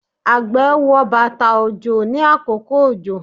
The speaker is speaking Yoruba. àgbẹ̀ wọ bàtà òjò ní àkókò òjò